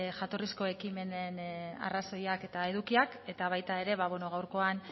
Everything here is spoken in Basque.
jatorrizko ekimenen arrazoiak eta edukiak eta baita ere ba beno gaurkoan